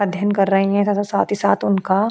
अध्ययन कर रही हैं तथा साथ ही साथ उनका --